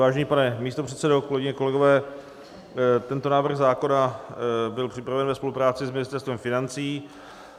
Vážený pane místopředsedo, kolegyně, kolegové, tento návrh zákona byl připraven ve spolupráci s Ministerstvem financí.